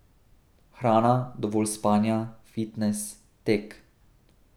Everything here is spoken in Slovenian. Hrana, dovolj spanja, fitnes, tek.